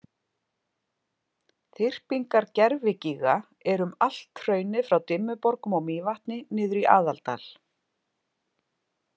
Þyrpingar gervigíga eru um allt hraunið frá Dimmuborgum og Mývatni niður í Aðaldal.